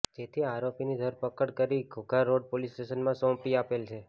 જેથી આરોપીની ઘરપકડ કરી ઘોઘારોડ પોલીસ સ્ટેશનમાં સોંપી આપેલ છે